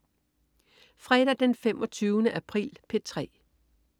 Fredag den 25. april - P3: